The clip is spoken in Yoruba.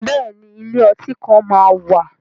Bẹ́ẹ̀ ni, ilé ọtí kan máa wà.